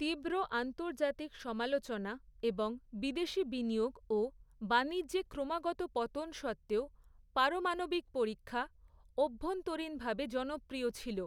তীব্র আন্তর্জাতিক সমালোচনা এবং বিদেশী বিনিয়োগ ও বাণিজ্যে ক্রমাগত পতন সত্ত্বেও, পারমাণবিক পরীক্ষা, অভ্যন্তরীণভাবে জনপ্রিয় ছিল।